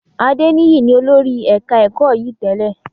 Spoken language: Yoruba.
Adeniyi ni olórí ẹ̀ka ẹ̀kọ́ yìí tẹ́lẹ̀